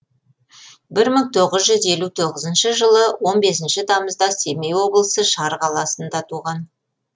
бір мың тоғыз жүз елу тоғызыншы жылы он бесінші тамызда семей облысы шар қаласы туған